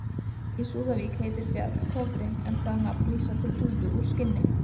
Í Súðavík heitir fjall Kofri en það nafn vísar til húfu úr skinni.